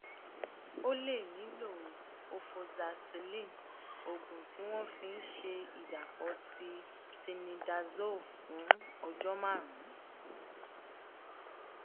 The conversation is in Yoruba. o lè nílò ofoxacilin oògùn tí wọn fi ń ń ṣe ìdàpọ ti tinidazole fún ọjọ márùnún